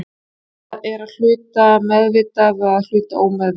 Það er að hluta meðvitað og að hluta ómeðvitað.